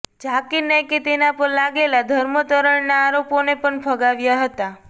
ઝાકિર નાઇકે તેના પર લાગેલા ધર્માંતરણના આરોપોને પણ ફગાવ્યા હતા